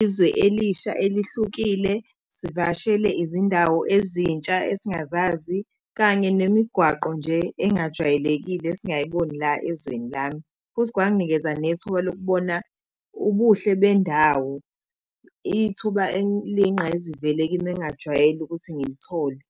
izwe elisha elihlukile, sivakashele izindawo ezintsha esingazazi, kanye nemigwaqo nje engajwayelekile esingayiboni la ezweni lami. Futhi kwanginikeza nethuba lokubona ubuhle bendawo, ithuba eliyingqayizivele kimi engingajwayele ukuthi ngilithole.